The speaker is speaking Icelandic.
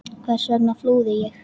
Hvers vegna flúði ég?